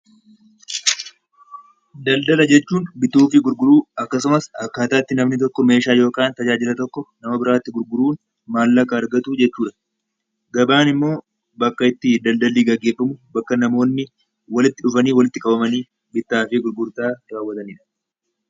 Daldala jechuun bituu fi gurguruu akkasumas akkaataa itti namni tokko meeshaa yookaan tajaajila tokko nama biraa tti gurguruun maallaqa argatu jechuu dha. Gabaan immoo bakka itti daldalli geggeeffamu, bakka namoonni walitti dhufanii, walitti qabamanii bittaa fi gurgurtaa raawwatani dha.